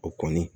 O kɔni